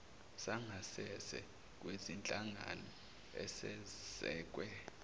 sangasese kwezinhlangano ezesekwe